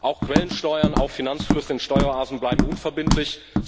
Auch Quellensteuern auf Finanzflüsse in Steueroasen bleiben unverbindlich.